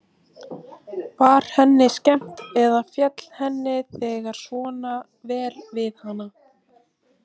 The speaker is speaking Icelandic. Var henni skemmt eða féll henni þegar svona vel við hana?